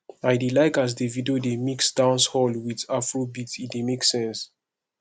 i dey like as davido dey mix dancehall wit afrobeat e dey make sense